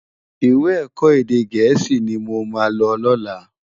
Iwè èkò édé gèési ni mó má ló lòlá